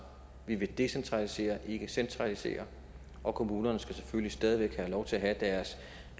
vi vil decentralisere ikke centralisere og kommunerne skal selvfølgelig stadig væk have lov til at have deres